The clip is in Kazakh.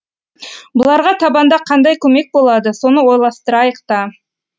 бұларға табанда қандай көмек болады соны ойластырайық та